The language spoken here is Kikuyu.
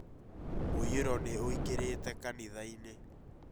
Mũiyũro nĩ ũingĩrĩte kanithainĩ